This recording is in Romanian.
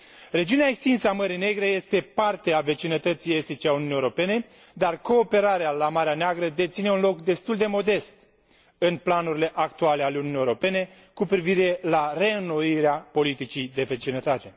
Regiunea extinsă a Mării Negre este parte a vecinătății estice a Uniunii Europene, dar cooperarea la Marea Neagră deține un loc destul de modest în planurile actuale ale Uniunii Europene cu privire la reînnoirea politicii de vecinătate.